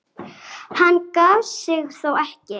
Hann gaf sig þó ekki.